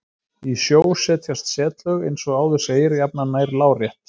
Í sjó setjast setlög, eins og áður segir, jafnan nær lárétt.